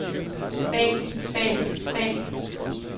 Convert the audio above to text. bag bag bag